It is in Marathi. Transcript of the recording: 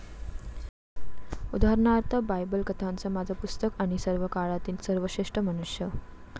उदाहरणार्थ, बायबल कथांचं माझं पुस्तक आणि सर्वकाळातील सर्वश्रेष्ठ मनुष्य.